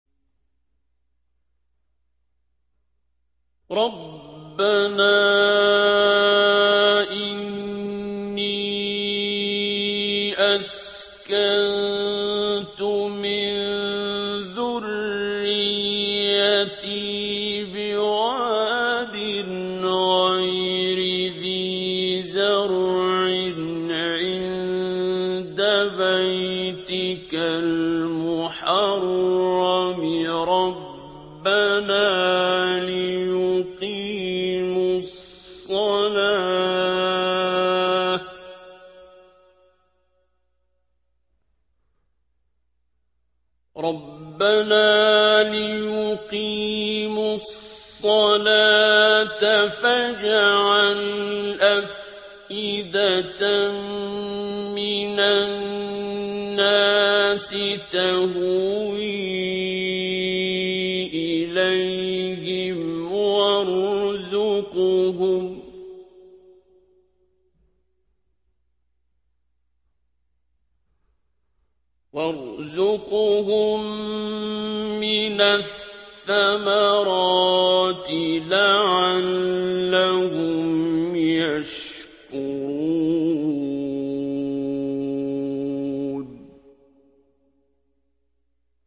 رَّبَّنَا إِنِّي أَسْكَنتُ مِن ذُرِّيَّتِي بِوَادٍ غَيْرِ ذِي زَرْعٍ عِندَ بَيْتِكَ الْمُحَرَّمِ رَبَّنَا لِيُقِيمُوا الصَّلَاةَ فَاجْعَلْ أَفْئِدَةً مِّنَ النَّاسِ تَهْوِي إِلَيْهِمْ وَارْزُقْهُم مِّنَ الثَّمَرَاتِ لَعَلَّهُمْ يَشْكُرُونَ